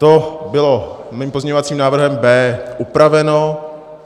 To bylo mým pozměňovacím návrhem B upraveno.